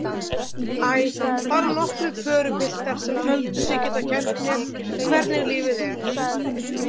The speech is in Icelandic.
Æ, bara nokkrir pörupiltar sem töldu sig geta kennt mér hvernig lífið er.